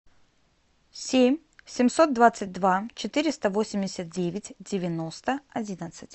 семь семьсот двадцать два четыреста восемьдесят девять девяносто одиннадцать